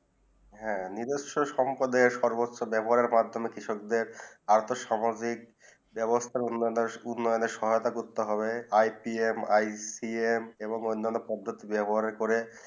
হেঁ নিদ্রসে সম্পদে সর্বোচ বেবহার মাধ্যমে কৃষক দের আর্থসামাজিক বেবস্তা উন্নয়েনেয় সহায়তা করতে হবে I P M I C M এবং অন্নান্ন পদ্ধিতি বেবহার করে